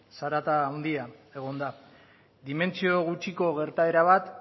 zarata handia egon da dimentsio gutxiko gertaera bat